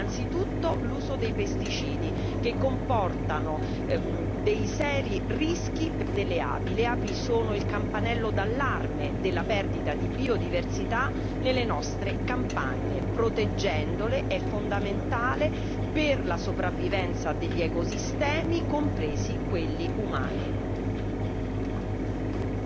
Ci sono problemi ben più seri innanzitutto l'uso dei pesticidi che comportano dei seri rischi per la vita delle api. Le api sono il campanello d'allarme della perdita di biodiversità nelle nostre campagne proteggerle è fondamentale per la sopravvivenza degli ecosistemi, compresi quelli umani.